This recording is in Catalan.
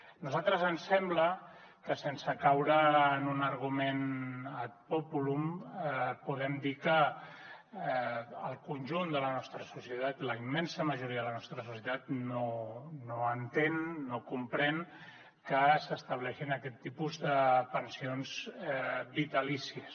a nosaltres ens sembla que sense caure en un argument ad populum podem dir que el conjunt de la nostra societat la immensa majoria de la nostra societat no entén no comprèn que s’estableixin aquest tipus de pensions vitalícies